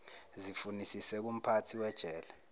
zifunisise kumphathi wejele